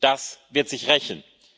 Das wird sich rächen.